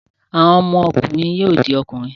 Àwọn ọmọkùnrin yóò di ọkùnrin.